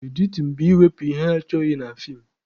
Editin bụ ịwepụ ihe achọghị na feem